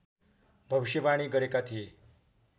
भविष्यवाणी गरेका थिए